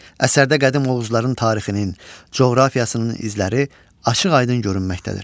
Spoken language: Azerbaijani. Əsərdə qədim oğuzların tarixinin, coğrafiyasının izləri açıq-aydın görünməkdədir.